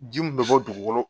Ji min bɛ bɔ dugukolo